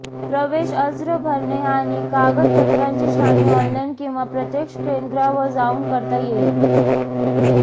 प्रवेश अर्ज भरणे आणि कागदपत्रांची छाननी ऑनलाइन किंवा प्रत्यक्ष केंद्रावर जाऊन करता येईल